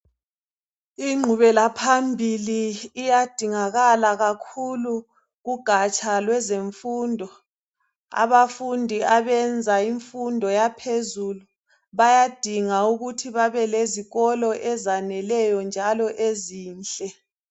Ingqubelaphambili iyadingakala kakhulu kugatsha lwezemfundo. Abafundi abenza imfundo yaphezulu bayadinga ukuthi babe lezikolo ezaneleyo njalo ezinhle.